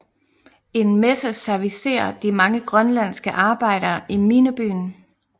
En messe servicerer de mange grønlandske arbejdere i minebyen